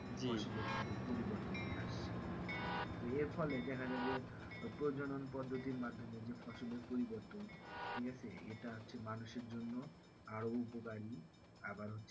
এর ফলে দেখা যাই যে প্রজনন পদ্ধতির মাধ্যমে যে ফসলের পরিবর্তন ঠিক আছে এটা মানুষের জন্য আরো উপকারী আবার হচ্ছে